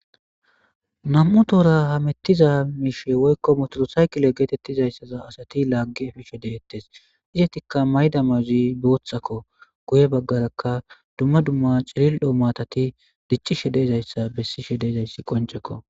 nam'u toora hamettiza miishe woykko motolo saykile geetettizayssaza asati laaggi efishe deettes izatikka mayda mayozi boothakko guye baggarakka dumma dumma cilil'o maatati dichishe de'izayssa bessishe de'izayssi qoncekko